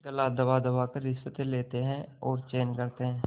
गला दबादबा कर रिश्वतें लेते हैं और चैन करते हैं